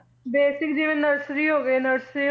Basic ਜਿਵੇਂ nursery ਹੋਵੇ nursery